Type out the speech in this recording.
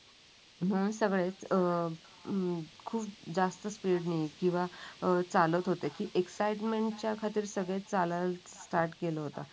म्हणून सगळे अं हम्म खूप जास्त स्पीड ने किंवा चालत होते. एक्साईटमेंट च्या खाली चालायला स्टार्ट केले होते.